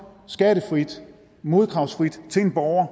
skattefrit modkravsfrit til en borger